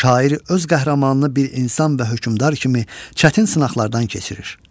Şairi öz qəhrəmanını bir insan və hökmdar kimi çətin sınaqlardan keçirir.